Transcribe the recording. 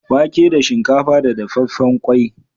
Wake da shinkafa da dafaffen ƙwai.